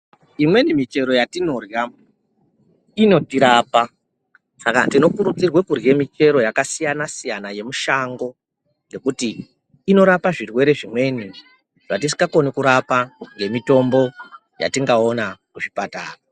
Imweni michero yatinorya inotirapa ,saka tinokurudzirwa kurya michero yakasiyana siyana yemushango ngekuti inorapa zvirwere zvimweni zvatisingakoni kurapa ngemutombo yatingaona muzvipatara.